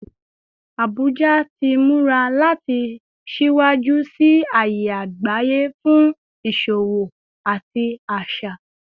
Abuja ti mura lati siwaju siwaju si aaye agbaye fun iṣowo ati aṣa